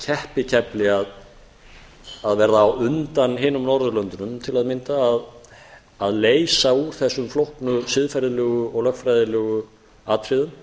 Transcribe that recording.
keppikefli að verða á undan hinum norðurlöndunum til að mynda að leysa úr þessum flóknu siðferðilegu og lögfræðilegu atriðum